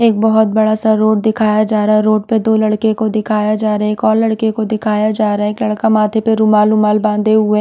एक बहुत बड़ा सा रोड दिखाया जा रहा हैं रोड पर दो लड़के को दिखाया जा रहा हैं एक और लड़के को दिखाया जा रहा हैं एक लड़का माथे पर रुमाल रुमाल बांधे हुए --